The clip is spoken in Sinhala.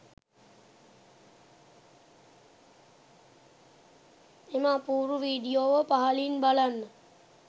එම අපූරුවීඩියෝව පහලින් බලන්න.